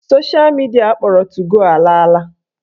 Sosha midia akpọrọ 2go ala ala.